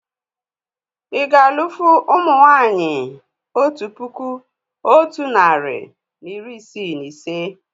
Ì ga alụ́fụ̀ ụmụ nwaanyị otu puku otu narị na iri isii na ise?